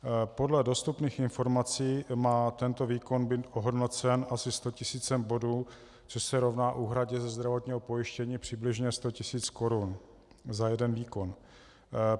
Podle dostupných informací má tento výkon být ohodnocen asi sto tisíci bodů, což se rovná úhradě ze zdravotního pojištění přibližně sto tisíc korun za jeden výkon.